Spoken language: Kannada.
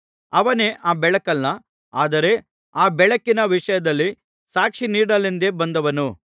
ಅವನೇ ಆ ಬೆಳಕಲ್ಲ ಆದರೆ ಆ ಬೆಳಕಿನ ವಿಷಯದಲ್ಲಿ ಸಾಕ್ಷಿ ನೀಡಲೆಂದೇ ಬಂದವನು